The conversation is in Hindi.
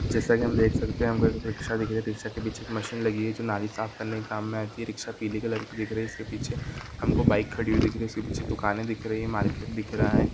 जैसे के हम देख सकते है यहाँ पर एक रिकशा दिख रही है रिकशा के पीछे एक मशीन लगी हुई है जो नाली साफ़ करने के काम में आती है रिकशा पिली कलर की दिख रही है इसके पीछे हमको बाइक खड़ी हुई दिख रही है उसके पीछे दुकाने दिख रही है मार्केट दिख रहा है।